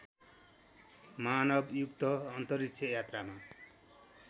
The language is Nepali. मानवयुक्त अन्तरिक्ष यात्रामा